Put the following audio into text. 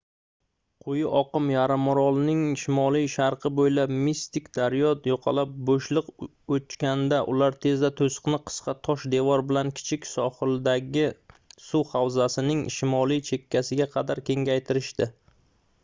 quyi oqim yarimorolning shimoli-sharqi boʻylab mistik daryo yoqalab boʻshliq ochganida ular tezda toʻsiqni qisqa tosh devor bilan kichik sohildagi suv havzasining shimoliy chekkasiga qadar kengaytirishdi